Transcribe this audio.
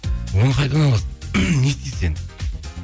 оны қайдан аласыз не істейсіз енді